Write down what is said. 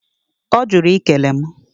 Ọ jụrụ i kele mụ.